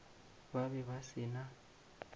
ba be ba se na